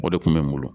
O de kun bɛ n bolo